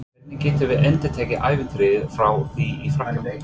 Hvernig getum við endurtekið ævintýrið frá því í Frakklandi?